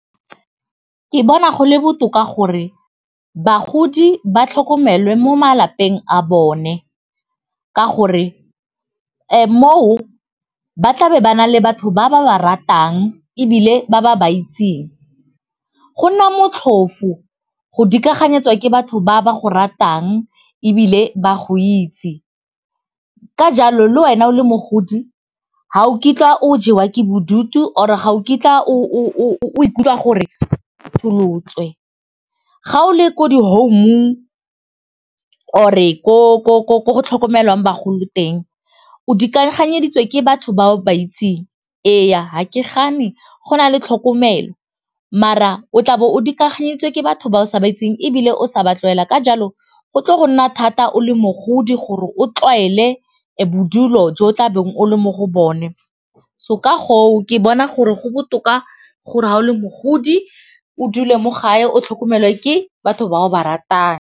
Ke bona go le botoka gore bagodi ba tlhokomelwe mo malapeng a bone ka gore moo ba tlabe ba na le batho ba ba ba ratang ebile ba ba ba itseng go nna motlhofo go dikago nyetswe ke batho ba ba go ratang ebile ba go itse ka jalo le wena o le mogodi ga o kitla o jewa ke bodutu or ga o kitla o ikutlwa gore o . Ga o le ko di-home-ong or ko go tlhokomelwang bagolo teng o dikaganyeditse ke batho ba o ba itseng eya ga ke gane go na le tlhokomelo mara o tlabo o dikaganyeditswe ke batho ba o sa ba itseng ebile o sa ba tlwaela ka jalo go tlo go nna thata o le mogodi gore o tlwaele bodulo jo o tlabeng o le mo go bone so ka goo ke bona gore go botoka gore ga o le mogodi o dule mo gae o tlhokomelwe ke batho ba o ba ratang.